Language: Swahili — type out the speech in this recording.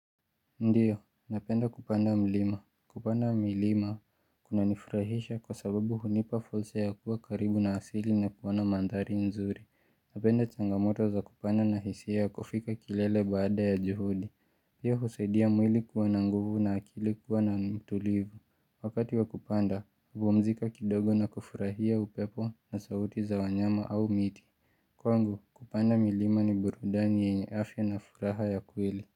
Ndiyo, napenda kupanda milima. Kupanda milima, kunanifurahisha kwa sababu hunipa fursa ya kuwa karibu na asili na kuona mandhari nzuri. Napenda changamoto za kupanda na hisia ya kufika kilele baada ya juhudi. Pia husaidia mwili kuwa na nguvu na akili kuwa na mtulivu. Wakati wa kupanda, hupumzika kidogo na kufurahia upepo na sauti za wanyama au miti. Kwangu, kupanda milima ni burudani yenye afya na furaha ya kweli.